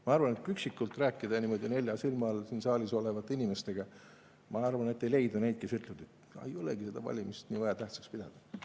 Ma arvan, et kui üksikult rääkida, niimoodi nelja silma all siin saalis olevate inimestega, siis ei leidu neid, kes ütlevad, et ei olegi vaja seda valimist nii tähtsaks pidada.